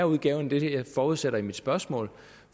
udgave jeg forudsætter i mit spørgsmål